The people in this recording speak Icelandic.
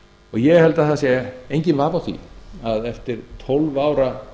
ég held að það sé enginn vafi á því að eftir tólf ára